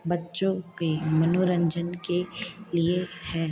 बच्चों के मनोरंजन के लिए हैं।